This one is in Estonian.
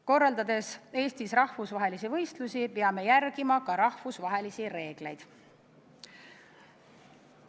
Korraldades Eestis rahvusvahelisi võistlusi, peame järgima ka rahvusvahelisi reegleid.